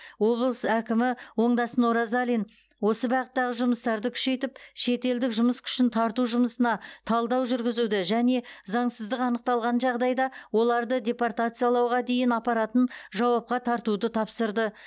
облыс әкімі оңдасын оразалин осы бағыттағы жұмыстарды күшейтіп шетелдік жұмыс күшін тарту жұмысына талдау жүргізуді және заңсыздық анықталған жағдайда оларды депортациялауға дейін апаратын жауапқа тартуды тапсырды